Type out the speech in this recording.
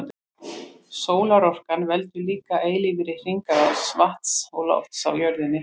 Sólarorkan veldur líka eilífri hringrás vatns og lofts á jörðinni.